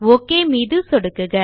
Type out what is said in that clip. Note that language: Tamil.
ஒக் மீது சொடுக்குக